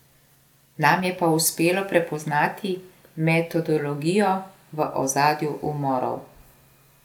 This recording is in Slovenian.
Nam je pa uspelo prepoznati metodologijo v ozadju umorov.